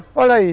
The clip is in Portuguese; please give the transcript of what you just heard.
Olha aí.